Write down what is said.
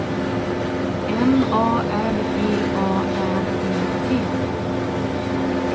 M A R G A R E T